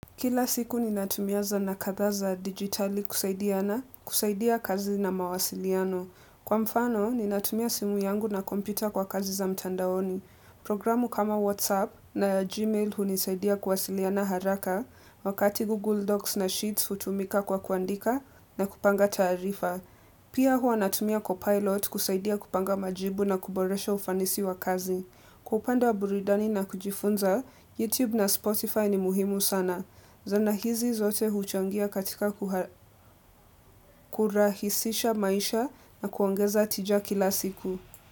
Kila siku ninatumia sanaa kadhaa za digitali kusaidiana, kusaidia kazi na mawasiliano. Kwa mfano, ni natumia simu yangu na kompita kwa kazi za mtandaoni. Programu kama WhatsApp na Gmail hunisaidia kuwasiliana haraka wakati Google Docs na Sheets hutumika kwa kuandika na kupanga taarifa. Pia hua natumia copilot kusaidia kupanga majibu na kuboresha ufanisi wa kazi. Kwa upande wa burudani na kujifunza, YouTube na Spotify ni muhimu sana. Zana hizi zote huchangia katika kuha kurahisisha maisha na kuongeza tija kila siku.